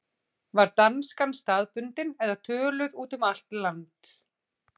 Var danskan staðbundin eða töluð út um allt land?